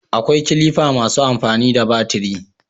akwai kilifa masu amfani da batiri